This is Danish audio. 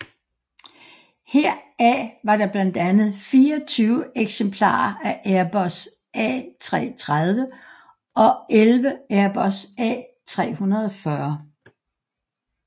Heraf var der blandt andet 24 eksemplarer af Airbus A330 og 11 Airbus A340